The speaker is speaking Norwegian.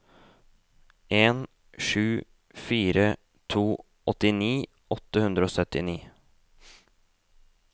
en sju fire to åttini åtte hundre og syttini